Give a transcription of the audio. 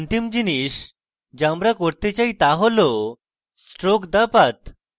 অন্তিম জিনিস the আমি করতে চাই the হল stroke the path